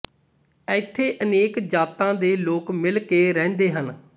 ਇੱਥੇ ਅਨੇਕ ਜਾਤਾਂ ਦੇ ਲੋਕ ਮਿਲ ਕੇ ਰਹਿੰਦੇ ਹਨ